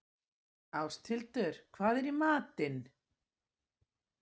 Ásthildur, hvað er í matinn?